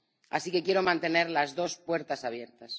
Así que quiero mantener las dos puertas abiertas.